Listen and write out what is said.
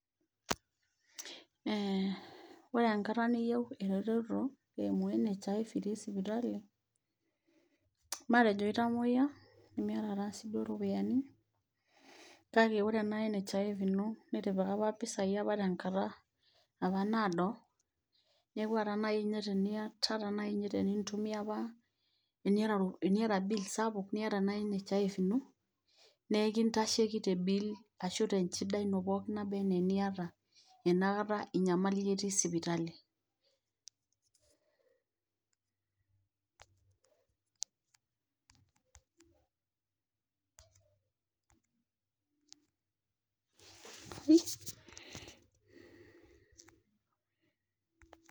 Ee ore enkata niyei eretoto eimu nhif te sipitali matejo itamuyia nimiata iropiyiani, na ore ena nhif ino nitipika apa ropiyiani tenkata apa naado, neaku ore nai teniata tenintumia apa teniata bill sapuk niata nai nhif ino na enkitasheki te bill ashu tenchida ino pookin nabaa anaa eniata inakata itii sipitali,[break]